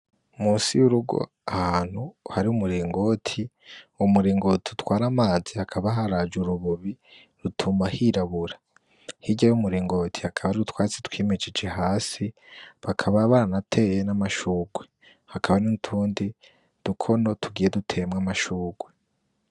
Musi y'urugo ahantu hari umuringoti wo muringoti utwara amazi hakaba haraja urububi rutuma hirabura hirya y' umuringoti hakaba ariutwatsi twimijije hasi bakaba bana ateye n'amashurwe hakaba n'itundi dukono tugiye dutemwa amashurwe.